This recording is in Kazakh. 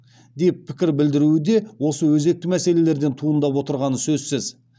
деп пікір білдіруі де осы өзекті мәселелерден туындап отырғаны сөзсіз